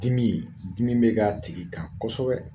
Dimii, dimi bɛ k'a tigi kan kosɛbɛ.